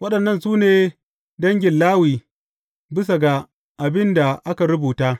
Waɗannan su ne dangin Lawi bisa ga abin da aka rubuta.